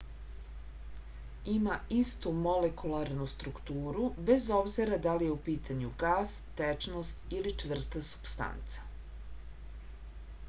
ima istu molekularnu strukturu bez obzira da li je u pitanju gas tečnost ili čvrsta supstanca